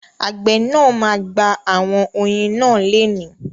Àgbẹ̀ náà ma gba àwọn oyin náà lénìí.